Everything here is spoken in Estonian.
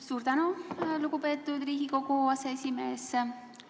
Suur tänu, lugupeetud Riigikogu aseesimees!